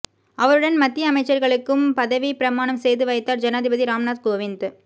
அவருடன் மத்திய அமைச்சர்களுக்கும் பதவி பிரமானம் செய்து வைத்தார் ஜனாதிபதி ராம்நாத் கோவிந்த்